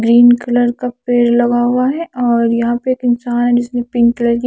green colour का पेड़ लगा हुआ है और यहा पे एक इन्सान है जिसमे पिंक कलर की --